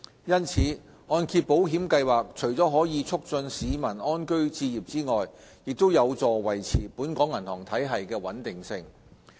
因此，按保計劃除了可以促進市民安居置業之外，亦有助維持本港銀行體系的穩定性。